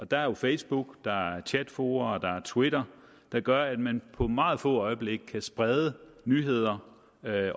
der er jo facebook der er chatfora der er twitter der gør at man på meget få øjeblikke kan sprede nyheder